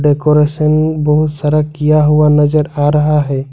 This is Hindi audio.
डेकोरेशन बहुत सारा किया हुआ नजर आ रहा है।